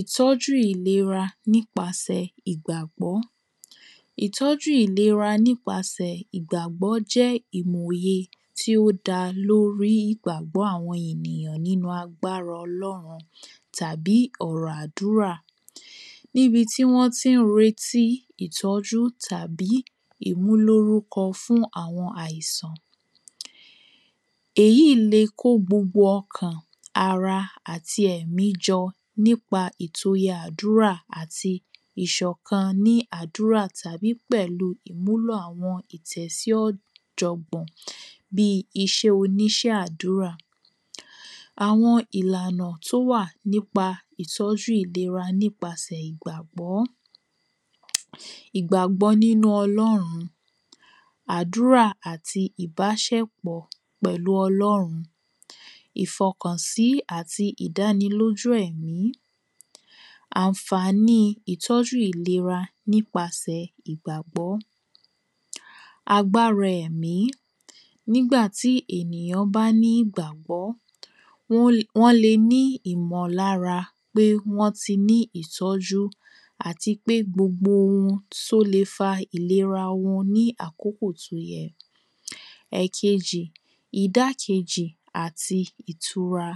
Ìtọ́jú ìlera nípasẹ̀ ìgbàgbọ́. Ìtọ́jú ìlera nípasẹ̀ ìgbàgbọ́ jẹ́ ìmòye tí ó dá lórí ìgbàgbọ́ àwọn ènìyàn nínú àgbára ọlọrún tàbí ọ̀rọ̀ àdúrà níbi tí wọ́n tí ń retí ìtọ́jú tàbí ìmúlórúkọ fún àwọn àìsàn. Èyí le kó gbogbo ọkàn ara àtí ẹmí jọ nípa ètò àdúrà àti ìṣọ̀kan nípa àdúrà tàbí ìmùlò àwọn ètò sí ọ̀jọ̀gbọ̀n bí iṣẹ́ oníṣẹ́ àdúrà. Àwọn ìlànà tó wà nípa Ìtọ́jú ìlera nípasẹ̀ ìgbàgbọ́. Ìgbàgbọ́ nínú ọlọ́run àdúrà pẹ̀lú ìbáṣepọ̀ pẹ̀lú ọlórun ìfọkàn sí àti ìdánilóʤú ẹ̀mí ànfání ìtọ̀jú ìlera nípasẹ̀ ìgbàgbọ́ agbára ẹ̀mí nígbàtí ènìyàn bá ní ìgbàgbọ́ wọ́n le wọ́n le ní ìmọ̀lára pé wọ́n ti ní ìtọ̀jú. Àti pé gbogbo ohun tó le fa ìlera wọn ní àkókò tó yẹ. Ẹ̀kejì ìdákejì àti ìtura.